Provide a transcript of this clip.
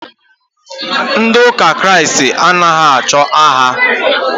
Ndị ụka Kristi anaghị achọ agha.